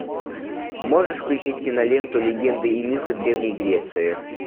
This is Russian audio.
можешь включить киноленту легенды и мифы древней греции